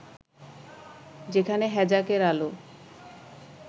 যেখানে হ্যাজাকের আলো